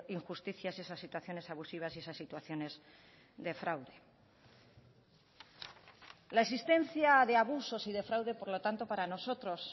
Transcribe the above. injusticias esas situaciones abusivas y esas situaciones de fraude la existencia de abusos y de fraude por lo tanto para nosotros